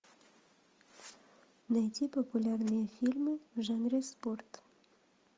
найди популярные фильмы в жанре спорт